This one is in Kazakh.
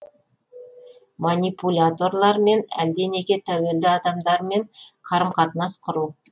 манипуляторлармен әлденеге тәуелді адамдармен қарым қатынас құру